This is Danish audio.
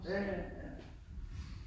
Ja ja, ja